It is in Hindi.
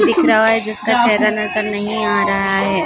दिख रहा है जिसका चेहरा नज़र नहीं आ रहा है--